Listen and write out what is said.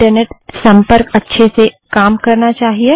internet संपर्क अच्छे से काम करना चाहिए